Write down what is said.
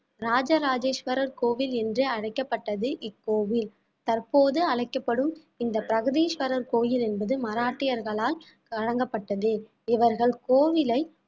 ராஜராஜேஸ்வரர் கோவில் என்று அழைக்கப்பட்டது இக்கோவில் தற்போது அழைக்கப்படும் இந்த பிரகதீஸ்வரர் கோயில் என்பது மராட்டியர்களால் வழங்கப்பட்டது இவர்கள் கோவிலை